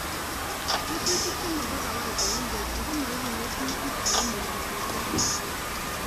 Rututik che mo kawaida en borto komoibu ng'emutik ako mo ibu seriat